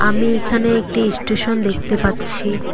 আমি ইখানে একটি ইস্টেশন দেখতে পাচ্ছি।